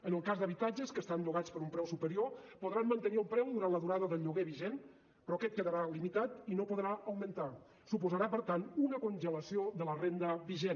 en el cas d’habitatges que estan llogats per un preu superior podran mantenir el preu durant la durada del lloguer vigent però aquest quedarà limitat i no podrà augmentar suposarà per tant una congelació de la renda vigent